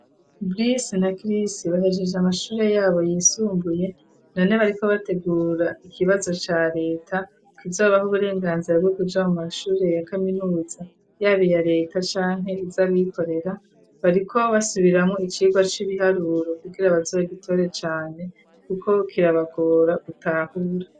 Berese na kirisi bahejeje amashuri yabo yisumbuye none bariko bategura ikibazo ca leta .Kuko kizobaho uburenganzira bwogujamu mashuri ya kaminuza yaba aya leta cane izabikorera bariko basubiramo icirwa c'ibiharuro ku kirabazuba gitore cane kuko kirabagora gutahura.